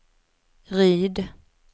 Ryd